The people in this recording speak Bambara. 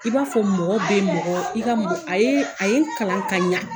I b'a fɔ mɔgɔ bɛ mɔgɔ i ka mɔgɔ a ye a ye n kalan ka ɲa.